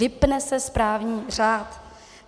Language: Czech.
Vypne se správní řád.